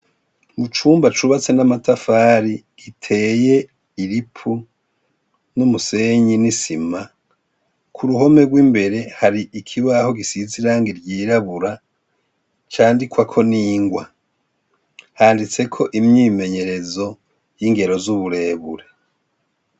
Mu cumba cubatse n'amatafari giteye ilipu n'umusenyi n'isima ku ruhome rw'imbere hari ikibaho gisizirange ryirabura candikwako n'ingwa handitseko imyimenyerezo y'ingero z'uburebure.